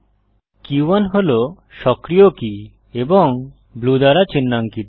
কে 1 হল সক্রিয় কী এবং ব্লু দ্বারা চিন্হাঙ্কিত